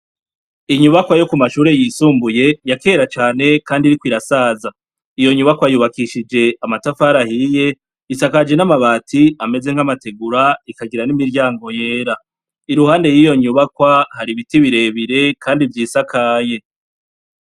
Inyubakwa yo ku mashure yisumbuye yakera cane Kandi iriko irasaza, iyo nyubakwa yubakishije amatafari ahiye, isakajwe n'amabati ameze nk'amategura ikagira n'imiryango yera. Iruhande yiryo nyubakwa, hari ibiti birebire kandi vyisakaye.